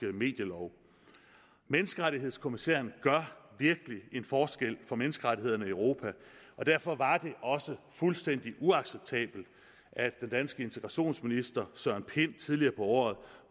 medielov menneskerettighedskommissæren gør virkelig en forskel for menneskerettighederne i europa og derfor var det også fuldstændig uacceptabelt at den danske integrationsminister søren pind tidligere på året